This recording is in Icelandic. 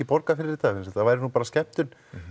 borgað fyrir þetta þetta væri nú bara skemmtun